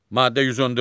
Maddə 114.